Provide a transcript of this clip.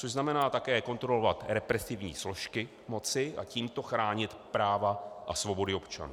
Což znamená také kontrolovat represivní složky moci a tímto chránit práva a svobody občanů.